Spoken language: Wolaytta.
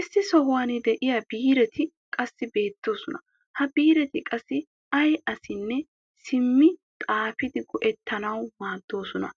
issi sohuwan diya biiretti qassi beetoosona. ha biiretti qassi ay assinne simmi xaafidi go'etanawu maadoosona.